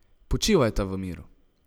Počivajta v miru!